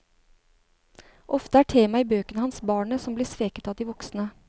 Ofte er tema i bøkene hans barnet som blir sveket av de voksne.